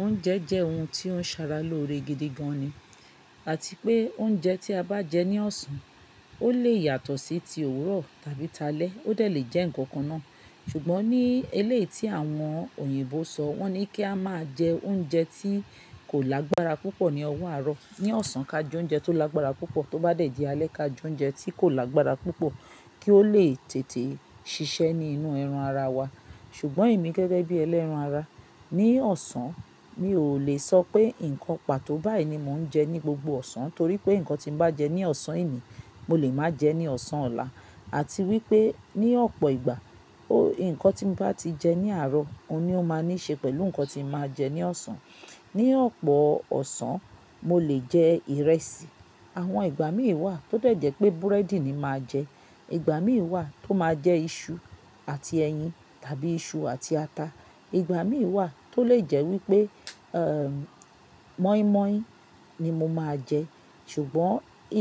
Oúnjẹ jẹ́ ohun tí ó ń ṣàrà lóore gidi gan ni. Àti pé oúnjẹ tí a bá jẹ ní ọ̀sán, ó lè yàtọ̀ sí ti òwúrọ̀ tàbí taálẹ́, ó de lè jẹ́ ǹkan kan náà. Ṣùgbọ́n ní eléyi tí àwọn òyìnbó sọ wọ́n ní kí a máa jẹ oúnjẹ tí kò lágbára púpọ̀ ní ọwọ́ àárọ̀. Ní ọ̀sán ka jẹ oúnjẹ tó lágbára púpọ̀, tó bá dẹ̀ di alẹ́ ka jẹ oúnjẹ tí kò lágbára púpọ̀ kí ó lè tètè ṣiṣẹ́ ní inú ẹran ara wa. Ṣùgbọ́n èmi gẹ́gẹ́ bí ẹlẹ́ran ara, ní ọ̀sán mi ò lè sọ pé ǹkan pàtó báyìí ni mò ń jẹ ní gbogbo ọ̀sán torí pé ǹkan tí ń bá jẹ ní ọ̀sán ení, mo lè máa jẹ ní ọ̀sán ọ̀la. Àti wípé ní ọ̀pọ̀ ìgbà, ǹkan tí ń bá ti jẹ ní àárọ̀, òun ni ó máa níí ṣe pẹ̀lú ǹkan tí ń máa jẹ ní ọ̀sán. Ní ọ̀pọ̀ ọ̀sán, mo lè jẹ ìrẹsì. Àwọn ìgbà mìí wà tó dẹ̀ jẹ́ pé búrẹ́dì ni màá jẹ. Ìgbà mìí wà tó máa jẹ iṣu àti ẹyin tàbí iṣu àti ata. Ìgbà mìí wà tó lè jẹ́ wípé, ẹ́ mọ́ínmọ́ín ni mo máa jẹ. Ṣùgbọ́n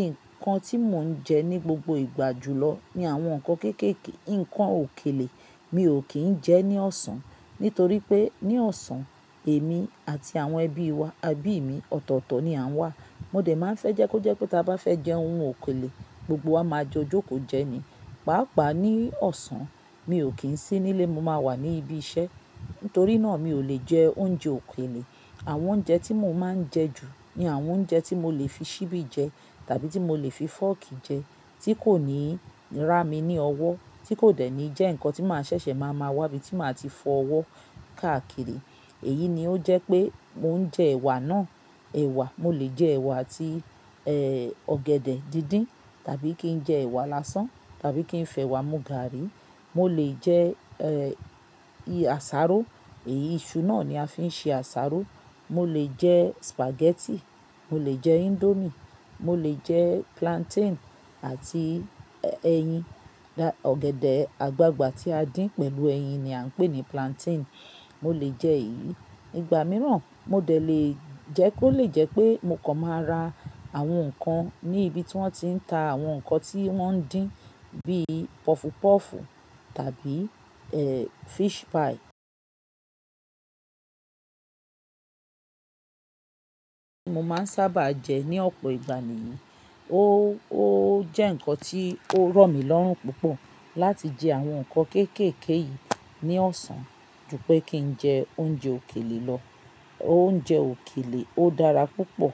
ǹkan tí mò ń jẹ ní gbogbo ìgbà jùlọ ni àwọn ǹkan kéékèèké. Ǹkan òkèlè mi ò kì ń jẹ ní ọ̀sán nitorí pé ní ọ̀sán, èmi àti àwọn ẹbí wa, ẹbí mi ọ̀tọ̀ọ̀tọ̀ ni à ń wà. Mo dẹ̀ máa ń fẹ́ jẹ́ kó jẹ́ pé tí a bá fẹ́ jẹ ohun òkèlè, gbogbo wa máa jó jókòó jẹ ni. Pàápàá ní ọ̀sán, mi ò kì ń sí nílé, mo máa wà ní ibi iṣẹ́. Nítorí náà mi ò lè jẹ oúnjẹ òkèlè. Àwọn oúnjẹ tí mò ń máa ń jẹ ju ni àwọn oúnjẹ tí mo lè fi ṣíbí jẹ tàbí tí mo lè fi fọ́ọ̀kì jẹ, tí kò ní rá mi ní ọwọ́, tí kò dẹ̀ ní jẹ́ ǹkan tí màá ṣẹ̀ṣẹ̀ máa ma wá ibí tí màá ti fọwọ́ káàkiri. Èyí ni ó jẹ́ pé mò ń jẹ ẹ̀wà náà. Ẹ̀wà, mo lè jẹ ẹ̀wà àti, ẹ́ ọ̀gẹ̀dẹ̀ díndín tàbí kí n jẹ ẹ̀wà lásán tàbí kí n fẹ ẹ̀wà mú gààrí. Mo lè jẹ, ẹ́ i asaro. Èyí iṣu náà ni a fi ń ṣe asaro. Mo lè jẹ spaghetti, mo lè jẹ índómìe, mo lè jẹ plantain àti ẹyin. Ọ̀gẹ̀dẹ̀ àgbagbà tí a dín pẹ̀lú ẹyin ni à ń pè ní plantain. Mo lè jẹ èyí. Ìgbà mìíràn, mo dẹ̀ lè jẹ́ kó lè jẹ́ pé mo kàn máa ra àwọn ǹkan ní ibi tí wọ́n ti ń ta àwọn ǹkan tí wọ́n ń dín bí pọfupọ́ọ̀fù tàbí ẹ́ fish pie. Mo máa ń sábà jẹ ní ọ̀pọ̀ ìgbà mìíràn. Ó, ó jẹ́ ǹkan tí ó rọ̀ mí lọ́rùn púpọ̀ láti jẹ àwọn ǹkan kéékèèké yìí ní ọ̀sán ju pé kí n jẹ oúnjẹ òkèlè lọ. Oúnjẹ òkèlè ó dára púpọ̀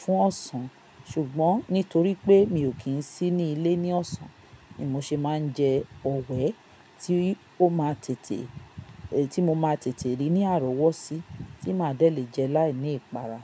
fún ọ̀sán ṣùgbọ́n nítorí pé mi ò kí ń sí ní ilé ní ọ̀sán ni mo ṣe máa ń jẹ ọ̀wẹ́ tí ó máa tètè, tí mo máa tètè rí ní àrọ̀wọ́sí tí màá dẹ̀ lè jẹ láìní ìpara.